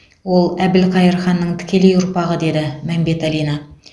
ол әбілқайыр ханның тікелей ұрпағы деді мәмбеталина